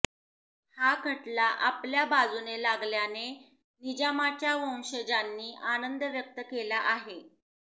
हा खटला आपल्या बाजूने लागल्याने निजामाच्या वंशजांनी आनंद व्यक्त केला आहे